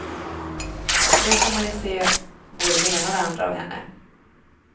Då får får man ju se både det ena och det andra av henne.